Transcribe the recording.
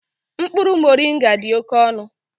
Mkpụrụ moringa dị oke ọnụ